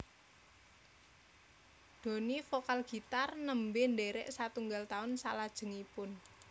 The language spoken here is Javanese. Doni vokal gitar nembe ndherek satunggal taun salajengipun